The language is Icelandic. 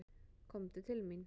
Komdu til mín.